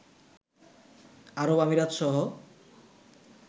আরব আমিরাতসহ